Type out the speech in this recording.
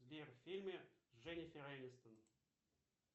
сбер фильмы с дженифер энистон